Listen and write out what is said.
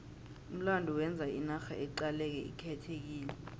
umlando wenza inarha iqaleke ikhethekile